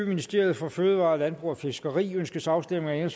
ministeriet for fødevarer landbrug og fiskeri ønskes afstemning